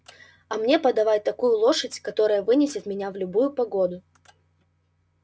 а мне подавай такую лошадь которая вынесет меня в любую погоду